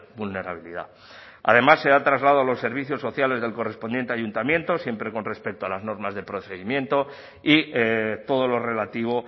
vulnerabilidad además se da traslado a los servicios sociales del correspondiente ayuntamiento siempre con respeto a las normas de procedimiento y todo lo relativo